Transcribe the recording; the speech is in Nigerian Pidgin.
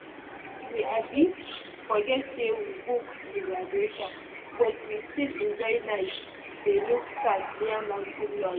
we um forget say we book reservation but we still enjoy night dey look stars near mountain lodge.